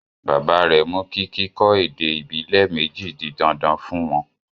Bàbá rẹ mú kí kíkọ́ èdè ibilẹ méjì di dandan fún wón.